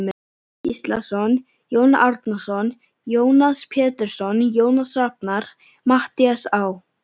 Gíslason, Jón Árnason, Jónas Pétursson, Jónas Rafnar, Matthías Á.